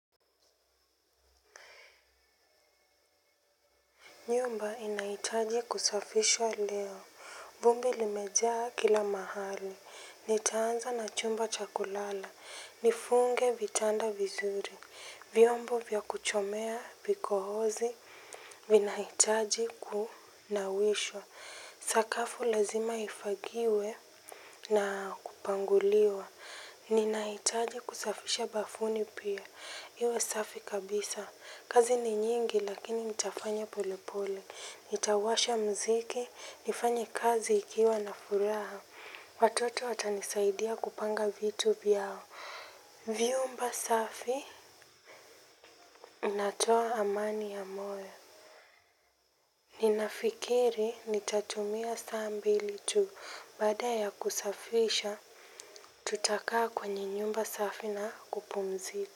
Nyumba inaitaji kusafishwa leo. Vumbi limejaa kila mahali. Nitaanza na chumba cha kulala. Nifunge vitanda vizuri. Vyombo vya kuchomea vikohozi. Vinahitaji kunawishwa. Sakafu lazima ifagiwe na kupanguliwa. Ninahitaji kusafisha bafuni pia. Iwe safi kabisa. Kazi ni nyingi lakini nitafanya polepole. Nitawasha mziki, nifanye kazi ikiwa na furaha, watoto watanisaidia kupanga vitu vyao. Vyumba safi, inatoa amani ya moyo. Ninafikiri nitatumia saa mbili tu baada ya kusafisha, tutakaa kwenye nyumba safi na kupumzika.